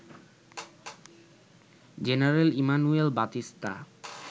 general Emmanuel Batista